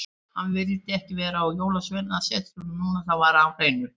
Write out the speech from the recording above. Hann vildi ekki vera á Jólasveinasetrinu núna, það var á hreinu.